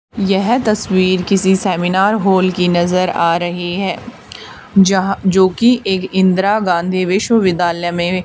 यह तस्वीर किसी सेमिनार हॉल की नजर आ रही है यहां जो कि एक इंदिरा गांधी विश्वविद्यालय में--